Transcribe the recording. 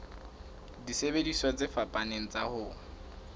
disebediswa tse fapaneng tsa ho